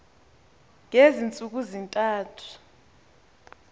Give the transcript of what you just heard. ngezi ntsuku zintathu